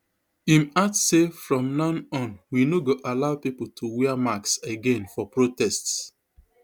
im add say from now on we no go allow pipo to wear masks again for protests